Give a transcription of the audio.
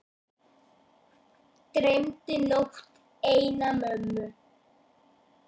Dreymdi nótt eina mömmu.